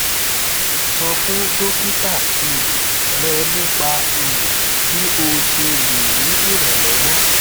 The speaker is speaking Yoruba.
sọ fún dókítà um rẹ nípa um bí o ṣe lè rí ìrànlọwọ